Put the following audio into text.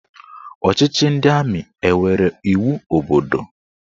Ọchịchị ndị amị enwere iwu obodo?